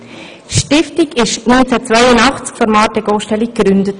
Die Stiftung wurde 1982 von Marthe Gosteli gegründet.